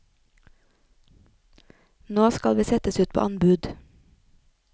Nå skal vi settes ut på anbud.